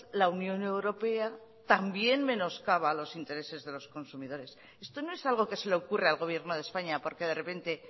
la unión europea también menoscaba los intereses de los consumidores esto no es algo que se le ocurre al gobierno de españa porque de repente